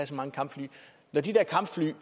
så mange kampfly når de der kampfly er